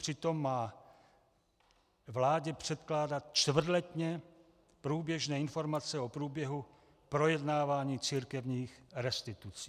Přitom má vládě předkládat čtvrtletně průběžné informace o průběhu projednávání církevních restitucí.